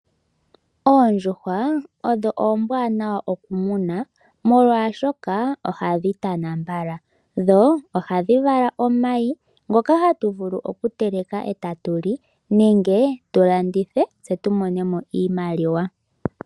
Oondjuhwa odho oombwanawa oku muna molwashoka ohadhi tana mbala, dho ohadhi vala omayi ngoka ha tu vulu okuteleka e ta tu li nenge tu landithe tse tu mone mo oshimaliwa.